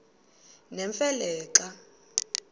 nemfe le xa